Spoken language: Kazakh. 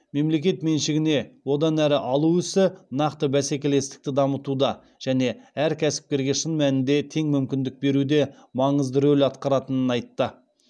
мемлекет меншігіне одан әрі алу ісі нақты бәсекелестікті дамытуда және әр кәсіпкерге шын мәнінде тең мүмкіндік беруде маңызды рөл атқаратынын айтты